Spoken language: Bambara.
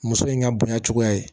Muso in ka bonya cogoya ye